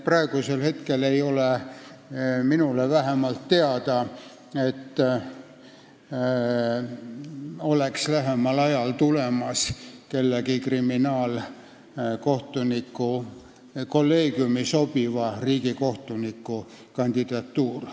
Praegu ei ole vähemalt minule teada, et lähemal ajal oleks olemas mõne kriminaalkolleegiumi sobiva riigikohtuniku kandidatuur.